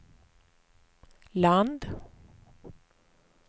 land